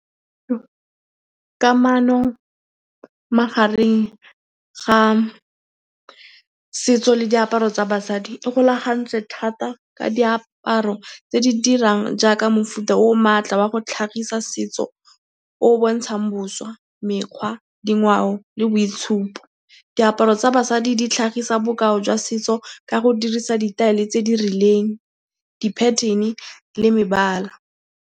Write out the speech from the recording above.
Kamano magareng ga setso le diaparo tsa basadi e golagantswe thata ka diaparo tse di dirang jaaka mofuta o o maatla wa go tlhagisa setso o o bontshang boswa, mekgwa, dingwao le boitshupo. Diaparo tsa basadi di tlhagisa bokao jwa setso ka go dirisa ditaele tse di rileng, di pattern-e le mebala.